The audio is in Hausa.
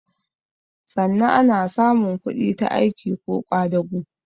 Sanna ana samun kudi ta aiki ko ƙwadago